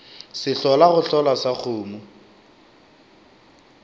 sehlola go hlola sa kgomo